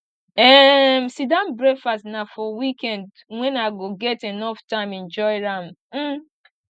um sitdown breakfast na for weekend wen i go get enough time enjoy am um